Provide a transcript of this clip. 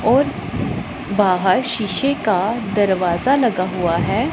और बाहर शीशे का दरवाजा लगा हुआ है।